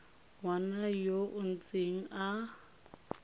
ngwana yo o ntseng a